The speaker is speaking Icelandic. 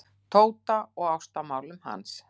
Tóta og ástamálum hans.